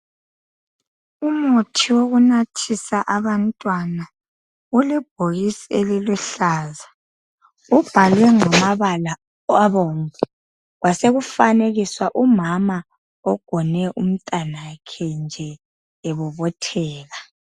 umuthi wokunathisa abantwana ule bhokisi eliluhlaza ubhalwe ngamabala obomvu kwasekufanekiswa umama ogone umntanakhe nje ebobotheka